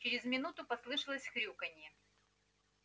через минуту послышалось хрюканье